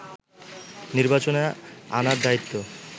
নির্বাচনে আনার দায়িত্ব